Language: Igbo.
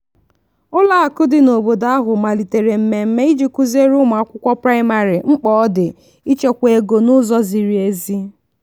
ụlọakụ dị n'obodo ahụ malitere mmemme iji kụziere ụmụakwụkwọ praịmarị mkpa ọ dị ịchekwa ego n'ụzọ ziri ezi.